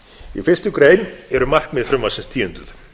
í fyrstu grein eru markmið frumvarpsins tíunduð